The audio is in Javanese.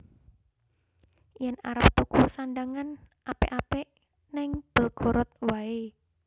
Yen arep tuku sandhangan apik apik ning Belgorod wae